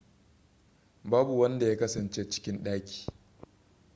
babu wanda ya kasance cikin ɗakin